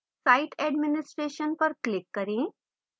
site administration पर click करें